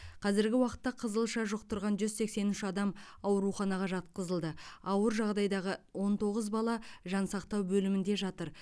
қазіргі уақытта қызылша жұқтырған жүз сексен үш адам ауруханаға жатқызылды ауыр жағдайдағы он тоғыз бала жансақтау бөлімінде жатыр